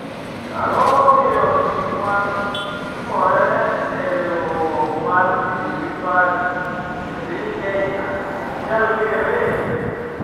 Ang'o momiyo gik matimore e riwruok mar Jubilee Party e piny Kenya, 'ok nyal ng'ere'?